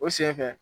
O senfɛ